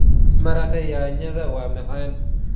Maraqa yaanyada waa macaan.